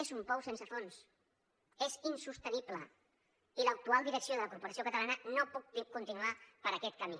és un pou sense fons és insostenible i l’actual direcció de la corporació catalana no pot continuar per aquest camí